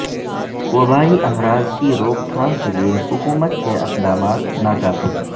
وبائی امراض کی روک تھام کیلئے حکومت کے اقدامات ناکافی